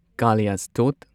ꯀꯥꯂꯤꯌꯥꯁ꯭ꯇꯣꯠ